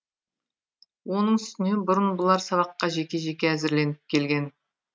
оның үстіне бұрын бұлар сабаққа жеке жеке әзірленіп келген